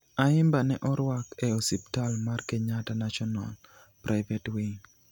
Ayimba ne orwak e osiptal mar Kenyatta National (KNH) Private Wing.